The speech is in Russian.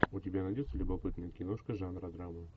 у тебя найдется любопытная киношка жанра драма